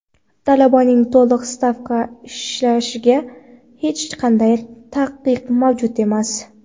talabaning to‘liq stavka ishlashiga hech qanday taqiq mavjud emas.